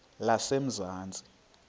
lezamanzi